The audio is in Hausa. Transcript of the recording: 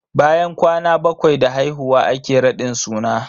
Bayan kwana bakwai da haihuwa ake raɗin suna.